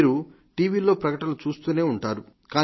మీరు టీవీల్లో ప్రకటనలు చూస్తూనే ఉంటారు